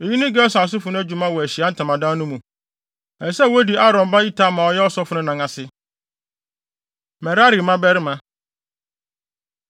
Eyi ne Gersonfo no adwuma wɔ Ahyiae Ntamadan no mu. Ɛsɛ sɛ wodi Aaron ba Itamar a ɔyɛ ɔsɔfo no nan ase. Merari Mmabarima